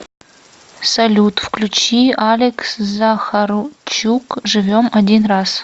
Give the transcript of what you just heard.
салют включи алекс захарчук живем один раз